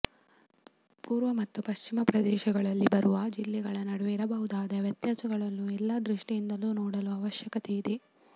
ಪೂರ್ವ ಮತ್ತು ಪಶ್ಚಿಮ ಪ್ರದೇಶಗಳಲ್ಲಿ ಬರುವ ಜಿಲ್ಲೆಗಳ ನಡುವೆ ಇರಬಹುದಾದ ವ್ಯತ್ಯಾಸಗಳನ್ನು ಎಲ್ಲಾ ದೃಷ್ಟಿಯಿಂದಲೂ ನೋಡುವ ಅವಶ್ಯಕತೆ ಇದೆ